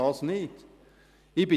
Das möchte ich nicht!